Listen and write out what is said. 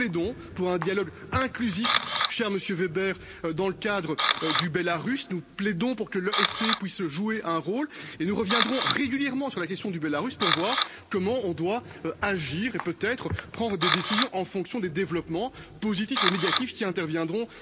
Nous plaidons pour un dialogue inclusif, cher Monsieur Weber, dans le cadre du Bélarus, nous plaidons pour que les OSC puissent jouer un rôle et nous reviendrons régulièrement sur la question du Bélarus pour voir comment on doit agir et peut être prendre des décisions en fonction des développements positifs ou négatifs qui interviendront.